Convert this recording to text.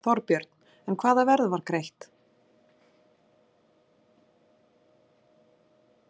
Þorbjörn: En hvaða verð var greitt?